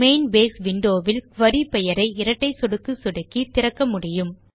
main base window வில் குரி பெயரை இரட்டை சொடுக்கு சொடுக்கி இதை திறக்க முடியும்